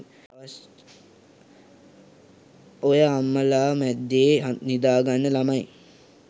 ඔය අම්මලා මැද්දෙ නිදාගන්න ළමයි